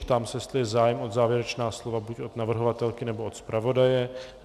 Ptám se, jestli je zájem o závěrečná slova buď od navrhovatelky, nebo od zpravodaje.